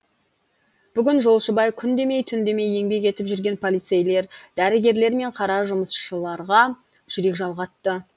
бүгін жолшыбай күн демей түн демей еңбек етіп жүрген полицейлер дәрігерлер мен қара жұмысшыларға жүрек жалғатты